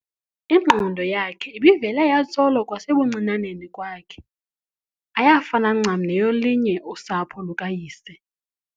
ingqondo yakhe ibivele yatsolo kwasebuncinaneni kwakhe, ayafana ncam neyolinye usapho lukayise.